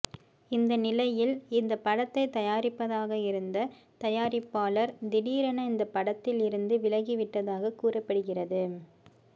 இந்த நிலையில் இந்த படத்தை தயாரிப்பதாக இருந்த தயாரிப்பாளர் திடீரென இந்த படத்தில் இருந்து விலகிவிட்டதாக கூறப்படுகிறது